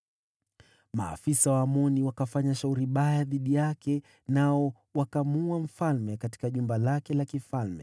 Watumishi wa Amoni wakafanya fitina juu yake, nao wakamuulia kwake nyumbani.